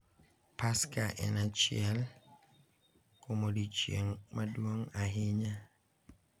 Paska en achiel kuom odiechieng’ maduong' ahinya,